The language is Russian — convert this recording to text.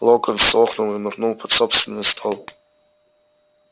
локонс охнул и нырнул под собственный стол